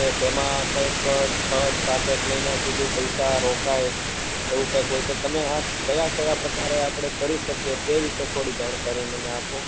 તેમાં કઈ ક છે સાત આઠ મહિના સુધી પૈસા રોકાય એવું કાઈ હોય તમે આ કયા કયા પ્રકાર આ આપડે કરી શકીએ તે વિષે થોડું જાણકારી મને આપો